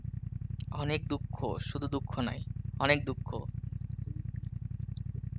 অনেক দুঃখ, শুধু দুঃখ নয়, অনেক দুঃখ.